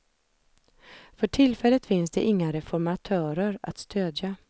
För tillfället finns det inga reformatörer att stödja.